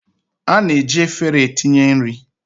A na-eji efere etinye nri